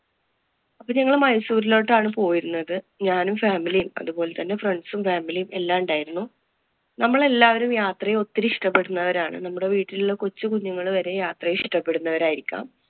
അപ്പൊ ഞങ്ങള് മൈസൂരിലോട്ടാണ് പോയിരുന്നത്. ഞാനും, family യും, അതുപോലെതന്നെ friends ഉം family യും എല്ലാം ഉണ്ടായിരുന്നു. നമ്മള്‍ എല്ലാവരും യാത്രയെ ഒത്തിരി ഇഷ്ടപ്പെടുന്നവരാണ്. നമ്മുടെ വീട്ടിലെ കൊച്ചു കുഞ്ഞുങ്ങള് വരെ യാത്രയെ ഇഷ്ടപ്പെടുന്നവര്‍ ആയിരിക്കാം.